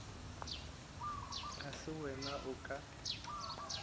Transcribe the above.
ga se wena o ka